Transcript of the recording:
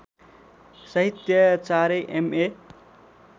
साहित्याचार्य M A